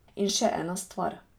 In še ena stvar.